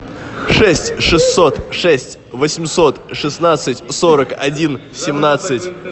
шесть шестьсот шесть восемьсот шестнадцать сорок один семнадцать